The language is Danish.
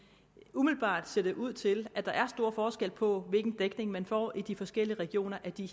umiddelbart ser det ud til at der er stor forskel på hvilken dækning man får i de forskellige regioner af de